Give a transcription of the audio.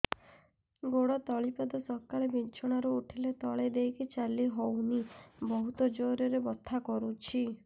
ଗୋଡ ତଳି ପାଦ ସକାଳେ ବିଛଣା ରୁ ଉଠିଲେ ତଳେ ଦେଇକି ଚାଲିହଉନି ବହୁତ ଜୋର ରେ ବଥା କରୁଛି